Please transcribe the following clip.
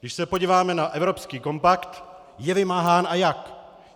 Když se podíváme na evropský kompakt, je vymáhán, a jak.